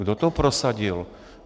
Kdo to prosadil?